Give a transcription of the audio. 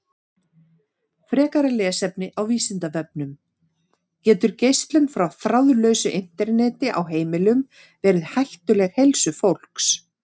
Frekara lesefni á Vísindavefnum: Getur geislun frá þráðlausu Interneti á heimilum verið hættuleg heilsu fólks?